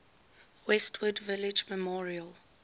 westwood village memorial